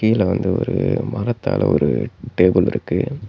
இதுல வந்து ஒரு மரத்தால ஒரு டேபிள் இருக்கு.